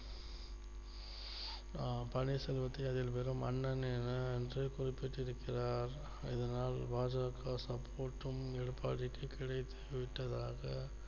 அஹ் பன்னீர் செல்வத்தை அதில் வெறும் அண்ணன் என என்று குறிப்பிட்டு இருக்கிறார் இதனால் பா ஜ க support ம் எடப்பாடிக்கு கிடைத்து விட்டதாக